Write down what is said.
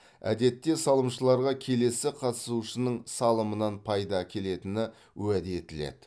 әдетте салымшыларға келесі қатысушының салымынан пайда келетіні уәде етіледі